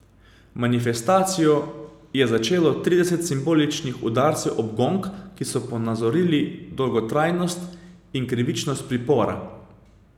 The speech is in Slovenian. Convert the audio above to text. Manifestacijo je začelo trideset simboličnih udarcev ob gong, ki so ponazorili dolgotrajnost in krivičnost pripora.